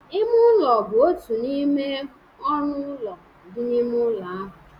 Ime ụlọ bụ otu n'ime ọnụ ụlọ dị n'ime ụlọ ahụ